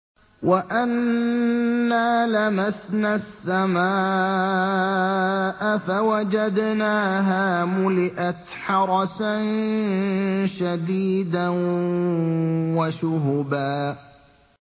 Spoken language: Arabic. وَأَنَّا لَمَسْنَا السَّمَاءَ فَوَجَدْنَاهَا مُلِئَتْ حَرَسًا شَدِيدًا وَشُهُبًا